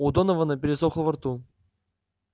у донована пересохло во рту